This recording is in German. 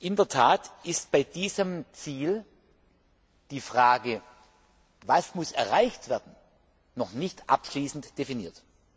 In der Tat ist bei diesem Ziel die Frage, was erreicht werden muss, noch nicht abschließend definiert.